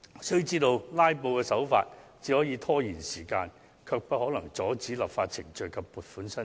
須知道"拉布"的手法只能拖延時間，卻無法阻止立法程序進行或移除撥款申請。